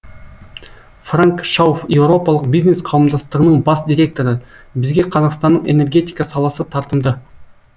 франк шауфф еуропалық бизнес қауымдастығының бас директоры бізге қазақстанның энергетика саласы тартымды